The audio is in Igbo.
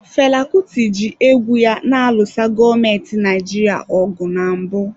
Fela Kuti ji egwu ya na-alụso gọọmenti Naijiria ọgụ na mbụ.